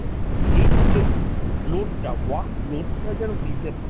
এই যে load টা work load টা যেন নিতে পারে।